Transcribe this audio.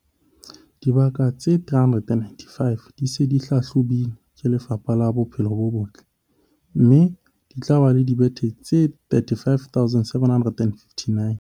Dibaka tse 395 di se di hlahlobilwe ke Lefapha la Bophelo bo Botle, mme di tla ba le dibethe tse 35 759.